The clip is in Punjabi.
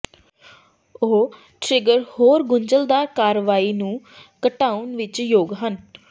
ਉਹ ਟਰਿੱਗਰ ਹੋਰ ਗੁੰਝਲਦਾਰ ਕਾਰਵਾਈ ਨੂੰ ਘਟਾਉਣ ਵਿਚ ਯੋਗ ਹਨ